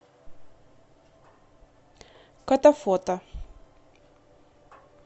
котофото